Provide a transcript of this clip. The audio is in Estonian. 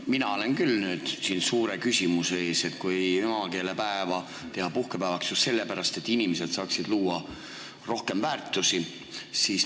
Mina olen küll nüüd suure küsimuse ees, kui emakeelepäeva tahetakse teha puhkepäevaks just sellepärast, et inimesed saaksid luua rohkem väärtusi.